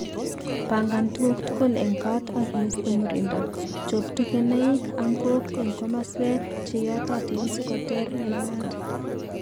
pangan tuguuk tugul en koot ak iiste murindo. Chob tugenaik/angok en komaswek che yatotiin sikoteer en maat.